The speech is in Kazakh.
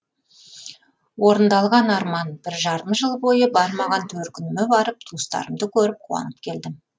орындалған арман бір жарым жыл бойы бармаған төркініме барып туыстарымды көріп қуанып келдім